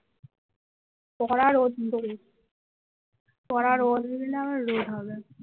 করা রোদ দেবে কড়া রোদ দিলে আবার রোদ হবে